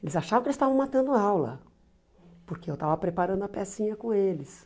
Eles achavam que eles estavam matando aula, porque eu estava preparando a pecinha com eles.